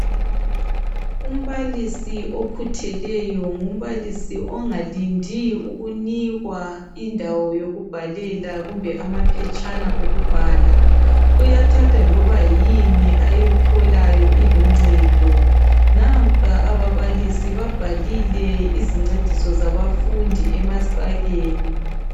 Umbalisi okhutheleyo ngumbalisi ongalindi ukunikwa indawo yokubhalela kumbe amaphetshana okubhala nampa ababalisi babhalile izincediso zabafundi emasakeni